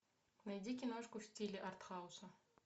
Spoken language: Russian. найди киношку в стиле артхауса